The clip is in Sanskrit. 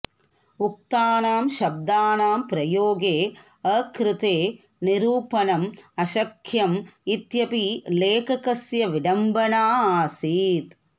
उक्तानां शब्दानां प्रयोगे अकृते निरूपणम् अशक्यम् इत्यपि लेखकस्य विडम्बना आसीत्